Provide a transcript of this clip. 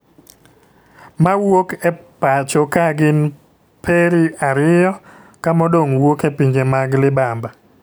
Mawuok e pacho ka gin peri ariyo ka modong wuoke pinje mag libamba.